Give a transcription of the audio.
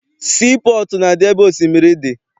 Sii pọọtụ na-adị ebe osimiri dị.